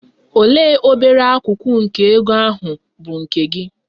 Olee obere akụkụ nke ego ahụ bụ nke gị?